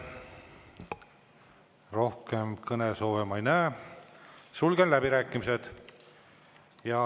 Rohkem kõnesoove ma ei näe, sulgen läbirääkimised.